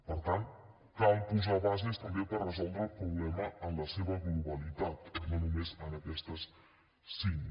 per tant cal posar bases també per resoldre el problema en la seva globalitat no només en aquestes cinc